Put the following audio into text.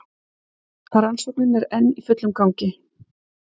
Rannsóknin enn í fullum gangi